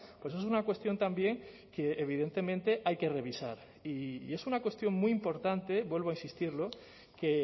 pues es una cuestión también que evidentemente hay que revisar y es una cuestión muy importante vuelvo a insistirlo que